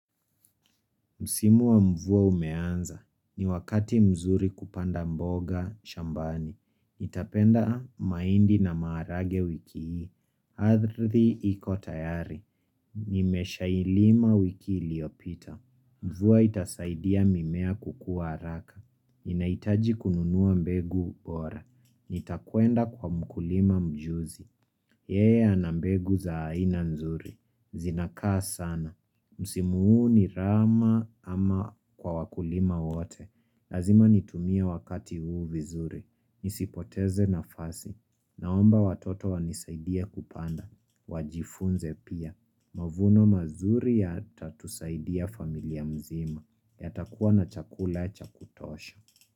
Msimu wa mvua umeanza. Ni wakati mzuri kupanda mboga, shambani. Nitapenda maindi na maharage wiki hii. Adhri iko tayari. Nimesha ilima wiki iliopita. Mvua itasaidia mimea kukua haraka. Ninaitaji kununua mbegu bora. Nitakuenda kwa mkulima mjuzi. Yeye anambegu za aina nzuri. Zinakaa sana. Msimu huu ni rama ama kwa wakulima wote Lazima nitumie wakati huu vizuri Nisipoteze na fasi Naomba watoto wanisaidie kupanda Wajifunze pia Mavuno mazuri ya tatusaidia familia mzima ya takua na chakula cha kutosha.